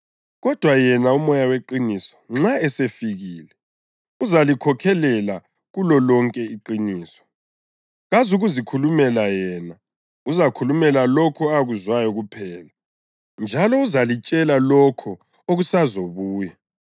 Kodwa yena uMoya weqiniso nxa esefikile uzalikhokhelela kulolonke iqiniso. Kazukuzikhulumela yena; uzakhuluma lokho akuzwayo kuphela, njalo uzalitshela lokho okusazobuya.